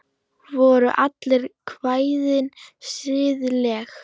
Voru öll kvæðin siðleg?